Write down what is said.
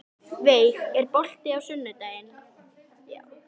Veig, er bolti á sunnudaginn?